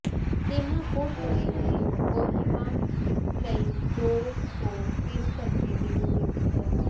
ਦੀਮਾਪੁਰ ਤੋਂ ਇਹ ਕੋਹਿਮਾ ਲਈ ਦੋ ਤੋਂ ਤਿੰਨ ਘੰਟੇ ਦੀ ਦੂਰੀ ਤੇ ਹੈ